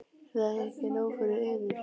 Er það ekki nóg fyrir yður?